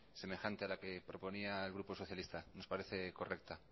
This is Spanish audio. semejante a la que proponía el grupo socialista nos parece correcta